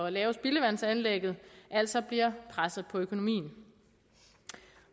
at lave spildevandsanlægget altså bliver presset på økonomien